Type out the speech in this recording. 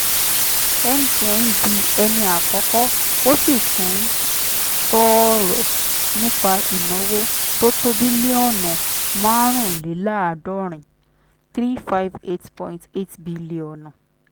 mtn di ẹni àkọ́kọ́ ó sì tún sọ̀rọ̀ nípa ìnáwó tó tó bílíọ́ọ̀nù márùnléláàádọ́rin three point five eight bílíọ́ọ̀nù.